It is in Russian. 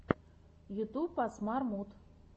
ютюб асмар муд